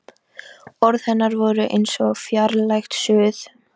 Orð hennar voru eins og fjarlægt suð.